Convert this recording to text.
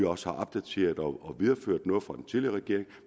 også opdateret og videreført noget fra den tidligere regering